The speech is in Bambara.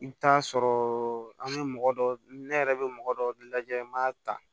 I bɛ taa sɔrɔ an bɛ mɔgɔ dɔ ne yɛrɛ bɛ mɔgɔ dɔ lajɛ n b'a ta